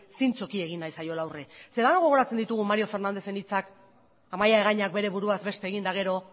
zintzoki egin nahi zaiola aurrea denok gogoratzen ditugu mario fernándezen hitzak amaia egañak bere buruaz beste egin eta gero